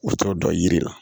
U t'o dɔn yiri la